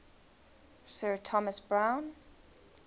sir thomas browne